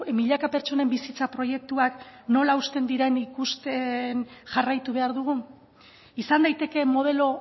milaka pertsonen bizitza proiektuak nola hausten diren ikusten jarraitu behar dugu izan daiteke modelo